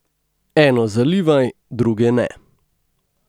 Eno zalivaj, druge ne.